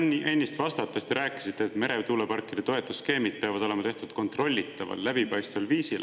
No mulle ennist vastates te rääkisite, et meretuuleparkide toetusskeemid peavad olema tehtud kontrollitaval, läbipaistval viisil.